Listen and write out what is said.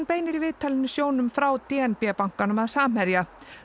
beinir í viðtalinu sjónum frá d n b bankanum að Samherja